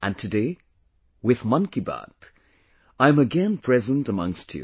And today, with ‘Mann Ki Baat’, I am again present amongst you